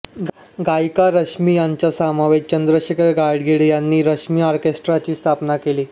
गायिका रश्मी यांच्यासमवेत चंद्रशेखर गाडगीळ यांनी रश्मी ऑर्केस्ट्राची स्थापना केली